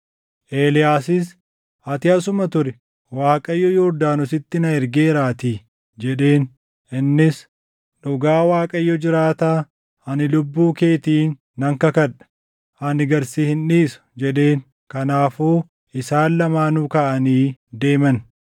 Eeliyaasis, “Ati asuma turi; Waaqayyo Yordaanositti na ergeeraatii” jedheen. Innis, “Dhugaa Waaqayyo jiraataa, ani lubbuu keetiin nan kakadha; ani gad si hin dhiisu” jedheen. Kanaafuu isaan lamaanuu kaʼanii deeman.